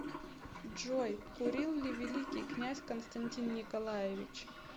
джой курил ли великий князь константин николаевич